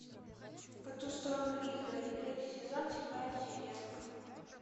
по ту сторону изгороди третий сезон седьмая серия